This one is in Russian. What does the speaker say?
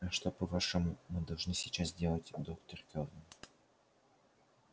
а что по-вашему мы должны сейчас делать доктор кэлвин